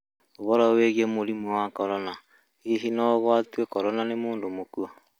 ũhoro wĩgĩe mũrĩmũ wa Korona: hĩhĩ no ũgwatĩo Korona nĩ mũndũ mũkũo